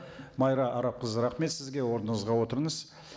майра арапқызы рахмет сізге орныңызға отырыңыз